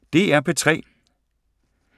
DR P3